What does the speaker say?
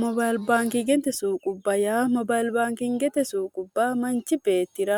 mobalbaankingete suuqubba yaa mobalbaankingete suuqubba manchi beettira